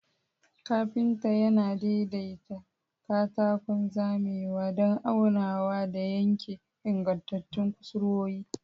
Kafinta yana daidaita katakon zamewa don aunawa da yanke ingantattun kusurwoyi.